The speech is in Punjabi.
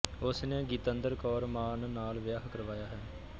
ਉਸ ਨੇ ਗੀਤਿੰਦਰ ਕੌਰ ਮਾਨ ਨਾਲ ਵਿਆਹ ਕਰਵਾਇਆ ਹੈ